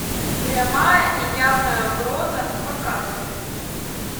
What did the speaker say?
прямая и явная угроза показывай